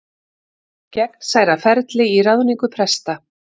Gegnsærra ferli í ráðningu presta